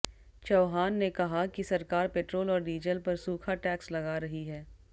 चव्हाण ने कहा कि सरकार पेट्रोल और डीजल पर सूखा टैक्स लगा रही है